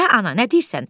Hə, ana, nə deyirsən?